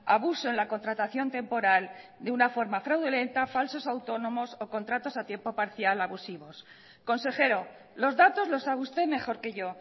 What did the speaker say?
abuso en la contratación temporal de una forma fraudulenta falsos autónomos o contratos a tiempo parcial abusivos consejero los datos los sabe usted mejor que yo